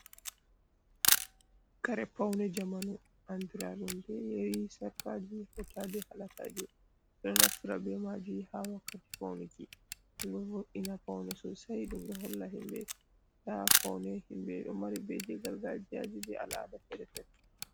Kare paune jamanu andiradun be yari, sarkaji, hautade halagaje, bedo nafra be maji ha wakkati paunuki, ndumdo voina paune sosai ndum doholla himbe da paune himbe do mari be je gargajiya be al ada ferefere.